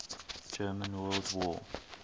german world war